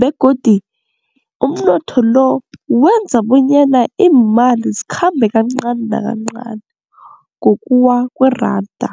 begodu umnotho lo wenza bonyana iimali zikhambe kancani nakancani ngokuwa kweranda.